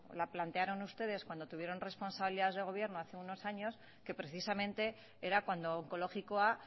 la plantearon ustedes cuando tuvieron responsabilidades de gobierno hace unos años que precisamente era cuando onkologikoa